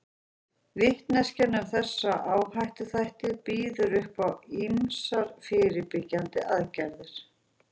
Vitneskjan um þessa áhættuþætti býður upp á ýmsar fyrirbyggjandi aðgerðir.